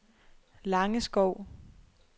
Langeskov